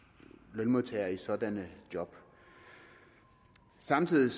lønmodtagere i sådanne job samtidig